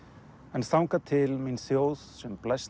en þangað til mín þjóð sem blæst